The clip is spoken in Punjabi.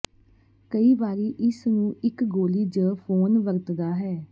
ਕਈ ਵਾਰੀ ਇਸ ਨੂੰ ਇੱਕ ਗੋਲੀ ਜ ਫੋਨ ਵਰਤਦਾ ਹੈ